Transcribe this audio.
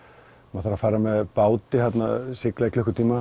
maður þarf að fara með báti sigla í klukkutíma